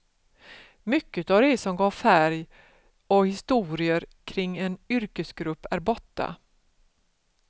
Mycket av det som gav färg och historier kring en yrkesgrupp är borta.